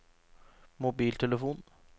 mobiltelefon